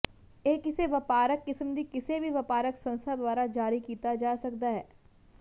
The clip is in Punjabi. ਇਹ ਕਿਸੇ ਵਪਾਰਕ ਕਿਸਮ ਦੀ ਕਿਸੇ ਵੀ ਵਪਾਰਕ ਸੰਸਥਾ ਦੁਆਰਾ ਜਾਰੀ ਕੀਤਾ ਜਾ ਸਕਦਾ ਹੈ